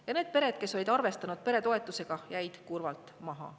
Ja need pered, kes olid arvestanud peretoetusega, jäid kurvalt maha.